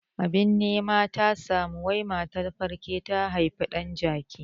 Abin nema ya samu wai matar falke ta haifi ɗan jaki